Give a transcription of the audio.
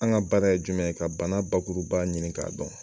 An ka baara ye jumɛn ye? ka bana bakuruba ɲini k'a dɔn.